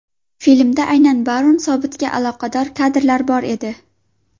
Filmda aynan Barun Sobtiga aloqador kadrlar bor edi.